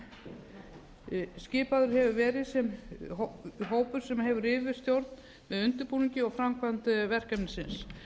þróunar skipaður hefur verið hópur sem hefur yfirstjórn með undirbúningi og framkvæmd verkefnisins